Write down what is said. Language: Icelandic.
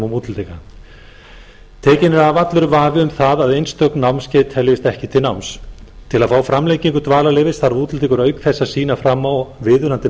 útlendinga tekinn er af allur vafi um það að einstök námskeið teljist ekki til náms til að fá framlengingu dvalarleyfisins þarf útlendingur auk þess að sýna fram á viðunandi